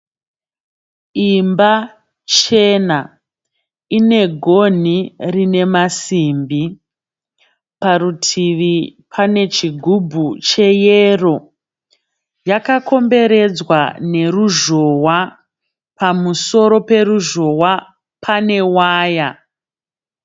Imba chena ine gonhi rine masimbi. Parutivi pane chigubhu cheyero. Yakakomberedzwa neruzhowa. Pamusoro peruzhowa pane waya.